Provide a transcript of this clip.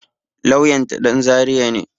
Lauyan ta ɗan zaria ne